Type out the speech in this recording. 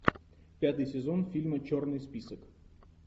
пятый сезон фильма черный список